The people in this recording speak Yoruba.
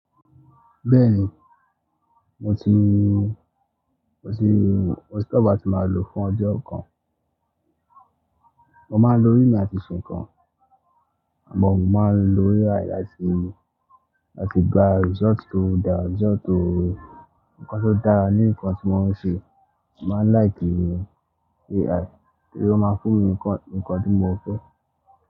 Bẹ́ẹ̀ni, mo ti, mo ti, mo ti kọ́ bí a ti máa lò fún ọjọ́ kan. Mo máa ń lo rí mi àti nǹkan, àmọ́ mo máa ń lo AI láti, láti gba result tó dá, result tó, ǹkan tó dára ní ǹkan tí wọ́n ń ṣe. Mo máa ń like AI torí ó máa ń fún mi ǹkan, ǹkan tí mo fẹ́.